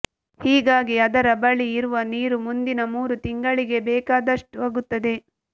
ಹೀಗಾಗಿ ಅದರ ಬಳಿ ಇರುವ ನೀರು ಮುಂದಿನ ಮೂರು ತಿಂಗಳಿಗೆ ಬೇಕಾದಷ್ಟಾಗುತ್ತದೆ